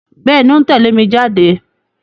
Bẹ́ẹ̀ni, ó ń tẹ̀lé mi jáde